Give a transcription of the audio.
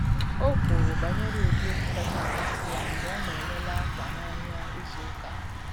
O kwuru banyere ụdị egwu kacha amasị ya mgbe ọ na ele le akwa n’ahịa izu ụka.